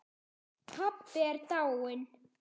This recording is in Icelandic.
Pabbi er dáinn